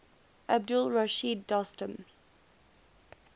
abdul rashid dostum